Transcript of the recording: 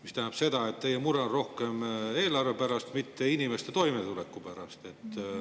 See tähendab seda, et teie mure on rohkem eelarve pärast, mitte inimeste toimetuleku pärast.